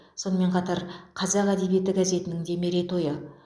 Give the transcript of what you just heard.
сонымен қатар қазақ әдебиеті газетінің де мерейтойы